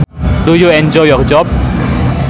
Do you enjoy your job